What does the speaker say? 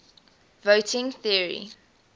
voting theory